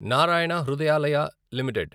Narayana Hrudayalaya limited